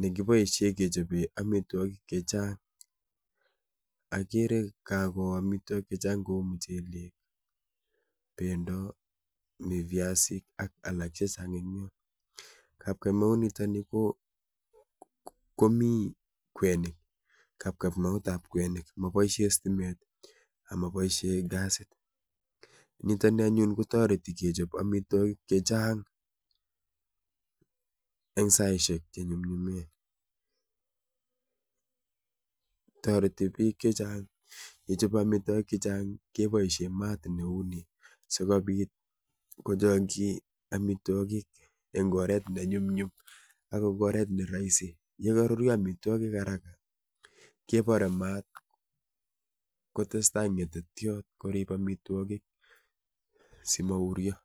nekiboisie kechobe amitwogik che chang, akere kakoo amitwogik che chang kou muchelek, bendo mi viasik ak alak che chang eg yoo, kapkaimaunitoni komi kwenik, kapkamautab kwenik, moboisie stimet ak moboisie kasit, nito ni anyun kotoreti kechop amitwogik chechang eng saisiek che nyumnyumen, toreti piik chechang yechope amitwogik chechang keboisie maat neu ni sikobit kochokyi amitwogik eng oret ne nyumnyum ak eng oret ne rahisi. Ye karuryo amitwogik haraka, kebore maat kotestai ngetetyot korip amitwogik si mauryo.